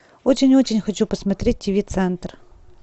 очень очень хочу посмотреть тв центр